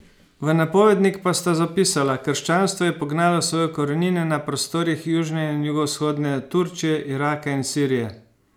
V napovednik pa sta zapisala: "Krščanstvo je pognalo svoje korenine na prostorih južne in jugovzhodne Turčije, Iraka in Sirije.